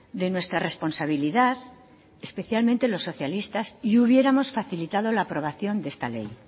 de nuestra responsabilidad especialmente los socialistas y hubiéramos facilitado la aprobación de esta ley